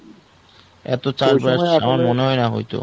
এত চাস আমার মনে হয় না হয়তো